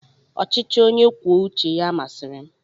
ọchịchị onye kwuo uche ya masịrị m.